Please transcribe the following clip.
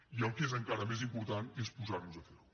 i el que és encara més important és posar nos a fer ho